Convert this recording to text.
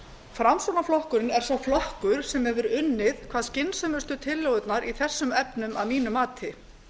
framsóknarflokkurinn er sá flokkur sem hefur unnið hvað skynsömustu tillögurnar í þessum efnum að mínu mati